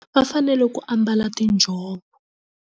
Vafanele ku ambala tinjhovo.